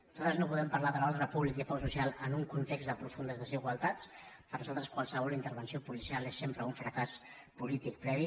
nosaltres no volem parlar de l’ordre públic ni de pau social en un context de profundes desigualtats per nosaltres qualsevol intervenció policial és sempre un fracàs polític previ